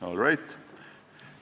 All right.